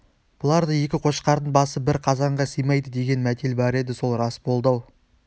бұларда екі қошқардың басы бір қазанға сыймайды деген мәтел бар еді сол рас болды-ау